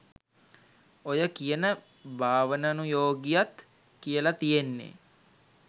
ඔය කියන භාවනනුයෝගියත් කියලා තියෙන්නේ